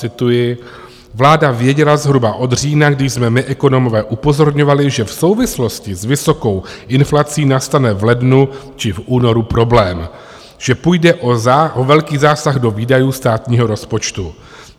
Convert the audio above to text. Cituji: "Vláda věděla zhruba od října, kdy jsme my ekonomové upozorňovali, že v souvislosti s vysokou inflací nastane v lednu či v únoru problém, že půjde o velký zásah do výdajů státního rozpočtu.